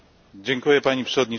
Pani Przewodnicząca!